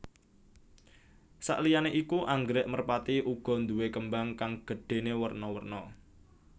Sakliyané iku anggrèk merpati uga nduwé kembang kang gedhéné werna werna